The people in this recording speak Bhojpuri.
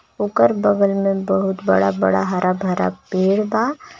ओकर बगल में बहुत बड़ा-बड़ा हरा भरा पेड़ बा.